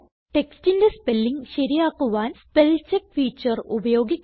textന്റെ spelling ശരിയാക്കുവാൻ spellcheck feature ഉപയോഗിക്കുക